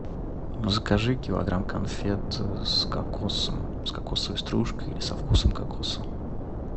закажи килограмм конфет с кокосом с кокосовой стружкой или со вкусом кокоса